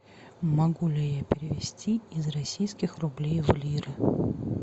могу ли я перевести из российских рублей в лиры